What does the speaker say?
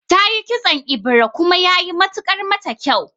Tayi kitson ebira kuma yayi matukar mata kyau